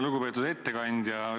Lugupeetud ettekandja!